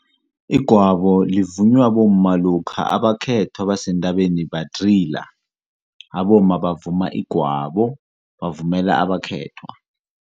Igwabo livunywa bomma lokha abakhethwa basentabeni badrila. Abomma bavuma igwabo bavumela abakhethwa.